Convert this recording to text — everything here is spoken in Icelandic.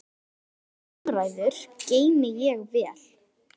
Þær umræður geymi ég vel.